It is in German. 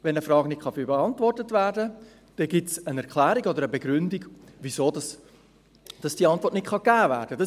Wenn eine Frage nicht beantwortet werden kann, dann gibt es eine Erklärung oder eine Begründung, warum diese Antwort nicht gegeben werden kann.